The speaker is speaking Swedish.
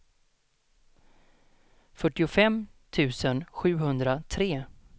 fyrtiofem tusen sjuhundratre